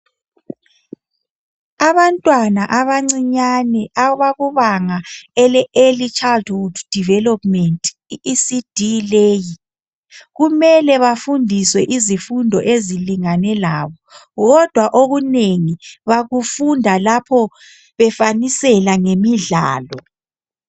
Abantwana abancinyane abakubanga ele early childhood development i-ECD leyi kumele bafundiswe izifundo ezilingane labo kodwa okunengi bakufunda lapho befanisela ngemidlalo.